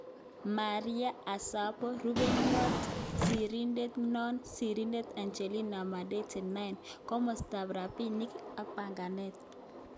Maria Sassabo-Rupeiywot sirindet nroo-Sirindeet Anjelina Madete 9. Komostap Rapinik ak Panganeet